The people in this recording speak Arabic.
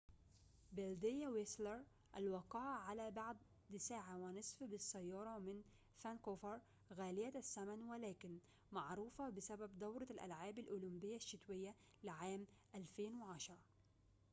بلدية ويسلر الواقعة على بعد ساعة ونصف بالسيارة من فانكوفر غالية الثمن، ولكن معروفة بسبب دورة الألعاب الأولمبية الشتوية لعام 2010